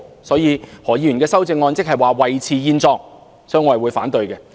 所以，何議員的修正案是維持現狀，我會表示反對。